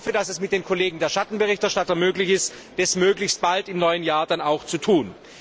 Ich hoffe, dass es mit den Kollegen Schattenberichterstattern möglich ist, das möglichst bald im neuen Jahr dann auch zu tun.